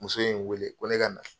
Muso ye n wele ko ne ka na.